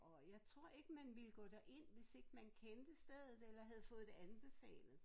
Og jeg tror ikke man ville gå derind hvis ikke man kendte stedet eller havde fået det anbefalet